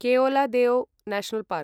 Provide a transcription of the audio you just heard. Keoladeo national park